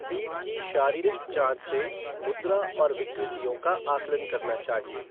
पीठ की शारीरिक जाँच से मुद्रा और विकृतियों का आकलन करना चाहिए।